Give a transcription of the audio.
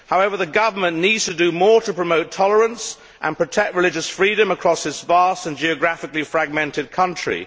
However, the government needs to do more to promote tolerance and protect religious freedom across this vast and geographically fragmented country.